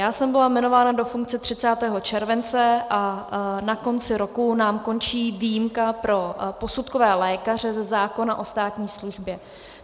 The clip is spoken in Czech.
Já jsem byla jmenována do funkce 30. července a na konci roku nám končí výjimka pro posudkové lékaře ze zákona o státní službě.